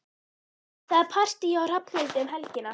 Það er partí hjá Hrafnhildi um helgina.